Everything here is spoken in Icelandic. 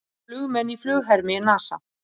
Flugmenn í flughermi NASA.